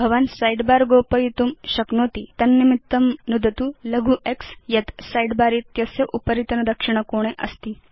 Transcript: भवान् साइडबार गोपयितुं शक्नोति तन्निमित्तं नुदतु लघु x यत् सिदे बर इत्यस्य उपरितन दक्षिण कोणे अस्ति